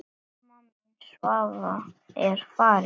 Amma mín Svava er farin.